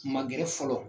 Ma gɛrɛ fɔlɔ